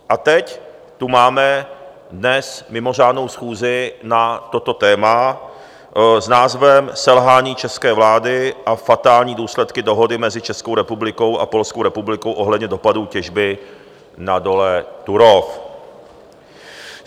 A teď tu máme dnes mimořádnou schůzi na toto téma s názvem Selhání české vlády a fatální důsledky dohody mezi Českou republikou a Polskou republikou ohledně dopadů těžby na dole Turów.